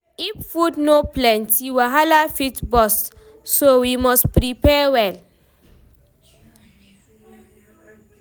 If food no plenty, wahala fit burst, so we must prepare well.